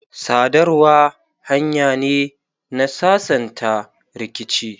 sadarwa hanya ne na sasanta rikici.